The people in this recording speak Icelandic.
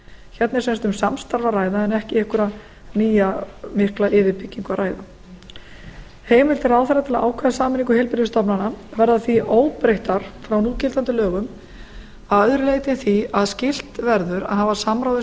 hérna er sem sagt um samstarf að ræða en ekki um einhverja nýja mikla yfirbyggingu að ræða heimildir ráðherra til að ákveða sameiningu heilbrigðisstofnana verða því óbreyttar frá núgildandi lögum að öðru leyti en því að skylt verður að hafa samráð við